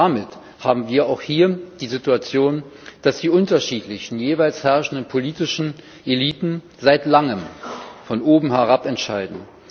Damit haben wir auch hier die Situation, dass die unterschiedlichen jeweils herrschenden politischen Eliten seit Langem von oben herab entscheiden.